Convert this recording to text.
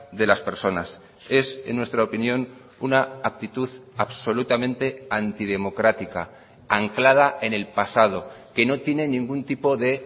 de las personas es en nuestra opinión una actitud absolutamente antidemocrática anclada en el pasado que no tiene ningún tipo de